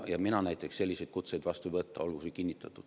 Mina näiteks selliseid kutseid vastu ei võta, olgu see üle kinnitatud.